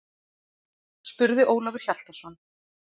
spurði Ólafur Hjaltason.